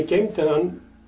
geymdi hann